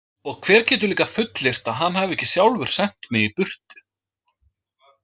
Og hver getur líka fullyrt að hann hafi ekki sjálfur sent mig burt?